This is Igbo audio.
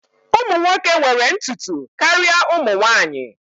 Ụmụ nwoke nwere ntutu karịa ụmụ nwanyị